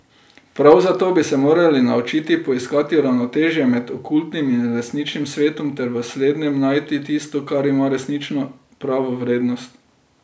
Prav zato bi se morali naučiti poiskati ravnotežje med okultnim in resničnim svetom ter v slednjem najti tisto, kar ima resnično pravo vrednost.